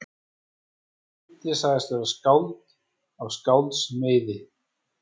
Sá fimmti segist vera skáld af skálds meiði.